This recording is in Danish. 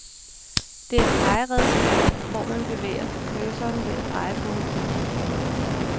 Det er et pegeredskab hvor man bevæger cursoren ved at dreje på en kugle.